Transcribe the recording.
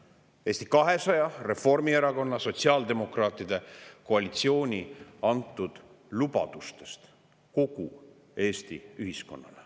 Nii palju siis Eesti 200, Reformierakonna ja sotsiaaldemokraatide koalitsiooni antud lubadustest kogu Eesti ühiskonnale.